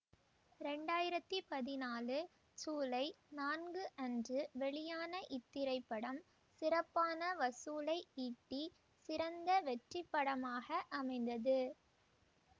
இரண்டு ஆயிரத்தி பதினான்கு சூலை நான்கு அன்று வெளியான இத்திரைப்படம் சிறப்பான வசூலை ஈட்டி சிறந்த வெற்றி படமாக அமைந்தது